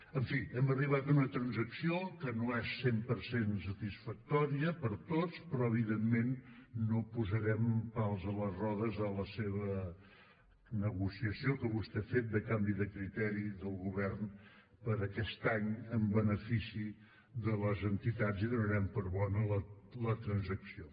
en fi hem arribat a una transacció que no és cent per cent satisfactòria per a tots però evidentment no posarem pals a les rodes a la seva negociació que vostè ha fet de canvi de criteri del govern per a aquest any en benefici de les entitats i donarem per bona la transacció